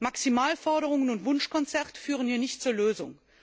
Maximalforderungen und Wunschkonzerte führen hier nicht zur Lösung.